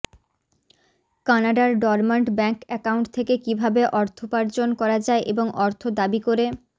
কানাডার dormant bank account থেকে কীভাবে অর্থোপার্জন করা যায় এবং অর্থ দাবি করে